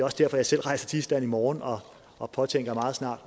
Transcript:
også derfor jeg selv rejser til island i morgen og og påtænker meget snart